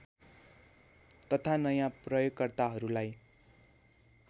तथा नयाँ प्रयोगकर्ताहरूलाई